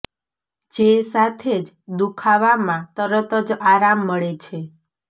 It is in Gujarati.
જે સાથે જ દુખાવામાં તરત જ આરામ મળે છે